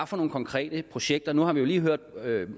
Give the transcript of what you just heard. for nogle konkrete projekter nu har vi jo lige hørt